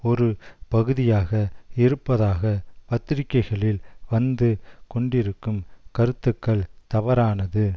ஒரு பகுதியாக இருப்பதாக பத்திரிக்கைகளில் வந்து கொண்டிருக்கும் கருத்துக்கள் தவறானது